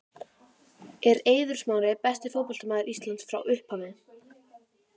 Er Eiður Smári besti fótboltamaður Íslands frá upphafi?